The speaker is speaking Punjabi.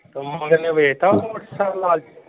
ਤੇ ਮਾਮੇ ਤੇਰੇ ਨੇ ਵੇਚ ਦਿੱਤਾ ਉਹ ਲਾਲ ਜੇਹਾ।